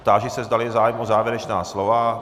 Táži se, zdali je zájem o závěrečná slova.